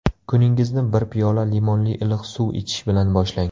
Kuningizni bir piyola limonli iliq suv ichish bilan boshlang.